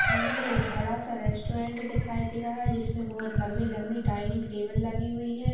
सामने एक बड़ा सा रेस्टोरेंट दिखाई दे रहा है जिसमें बहुत लंबी -लंबी डाइनिंग टेबल लगी हुई है।